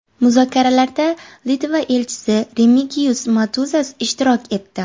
Muzokaralarda Litva elchisi Remigiyus Motuzas ishtirok etdi.